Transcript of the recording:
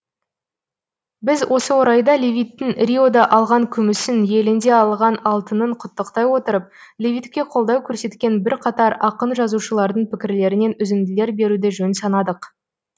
біз осы орайда левиттің риода алған күмісін елінде алған алтынын құттықтай отырып левитке қолдау көрсеткен бір қатар ақын жазушылардың пікірлерінен үзінділер беруді жөн санадық